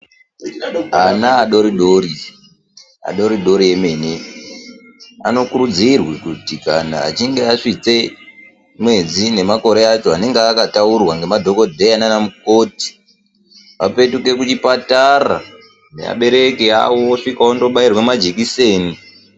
Ana adodori adoridori emene anokuridzirwe kuti kana achinge asvike mwedzi nemakore acho anonga akataurwa nadhokodheya nana mukoti vapetuke kuchipatara nevabereki vavo vasvike vanobairwa majekiseni.